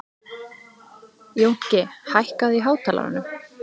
Jónki, hækkaðu í hátalaranum.